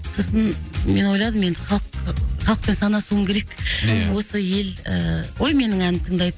сосын мен ойладым енді халық халықпен санасуым керек ия осы ел ғой менің әнімді тыңдайтын